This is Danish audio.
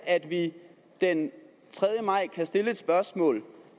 at vi den tredje maj kan stille et spørgsmål